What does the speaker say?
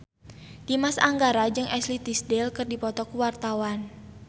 Dimas Anggara jeung Ashley Tisdale keur dipoto ku wartawan